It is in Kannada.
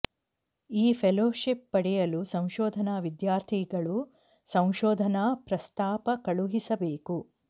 ಈ ಫೆಲೋಶಿಪ್ ಪಡೆಯಲು ಸಂಶೋಧನಾ ವಿದ್ಯಾರ್ಥಿಗಳು ಸಂಶೋಧನಾ ಪ್ರಸ್ತಾಪ ಕಳುಹಿಸಬೇಕು